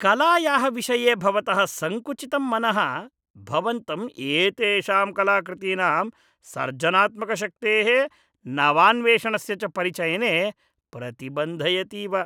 कलायाः विषये भवतः संकुचितं मनः भवन्तं एतेषां कलाकृतीनां सर्जनात्मकशक्तेः नवान्वेषणस्य च परिचयने प्रतिबन्धयतीव।